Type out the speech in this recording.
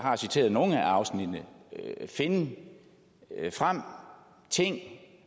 har citeret nogle af afsnittene finde ting frem